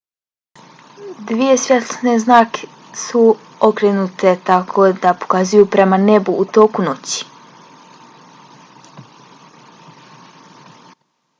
dvije svjetlosne zrake su okrenute tako da pokazuju prema nebu u toku noći